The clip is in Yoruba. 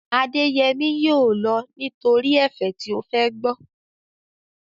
Adéyẹmí yóò lọ nítorí ẹ̀fẹ̀ tí ó fẹ́ gbọ́